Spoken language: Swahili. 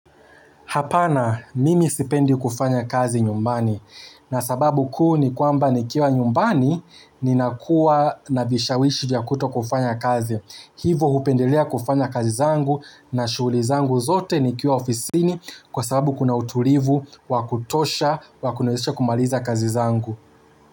Hapana, mimi sipendi kufanya kazi nyumbani. Na sababu kuu ni kwamba nikiwa nyumbani ninakuwa na vishawishi vya kutokufanya kazi. Hivo hupendelea kufanya kazi zangu na shughuli zangu zote nikiwa ofisini kwa sababu kuna utulivu wa kutosha wa kuniwezesha kumaliza kazi zangu.